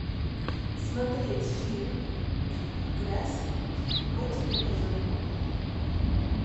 смотреть фильм грязь по телевизору